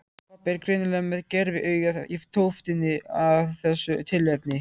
Pabbi er greinilega með gerviaugað í tóftinni af þessu tilefni.